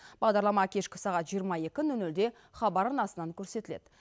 бағдарлама кешкі сағат жиырма екі нөл нөлде хабар арнасынан көрсетіледі